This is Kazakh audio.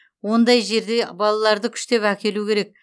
ондай жерге балаларды күштеп әкелу керек